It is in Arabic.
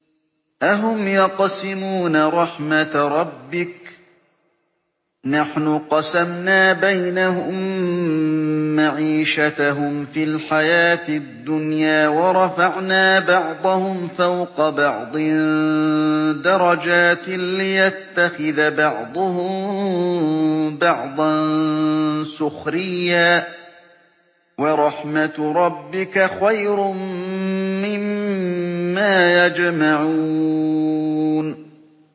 أَهُمْ يَقْسِمُونَ رَحْمَتَ رَبِّكَ ۚ نَحْنُ قَسَمْنَا بَيْنَهُم مَّعِيشَتَهُمْ فِي الْحَيَاةِ الدُّنْيَا ۚ وَرَفَعْنَا بَعْضَهُمْ فَوْقَ بَعْضٍ دَرَجَاتٍ لِّيَتَّخِذَ بَعْضُهُم بَعْضًا سُخْرِيًّا ۗ وَرَحْمَتُ رَبِّكَ خَيْرٌ مِّمَّا يَجْمَعُونَ